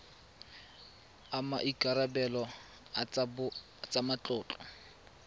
a maikarebelo a tsa matlotlo